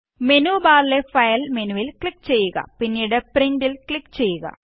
menu ബാറിലെ file മെനുവില് click ചെയ്യുക പിന്നീട് പ്രിന്റ് ല് ക്ലിക് ചെയ്യുക